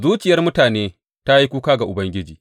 Zuciyar mutane ta yi kuka ga Ubangiji.